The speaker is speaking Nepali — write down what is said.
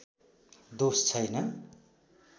दोष छैन